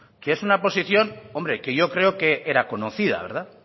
que es una posición hombre que yo creo que era conocida verdad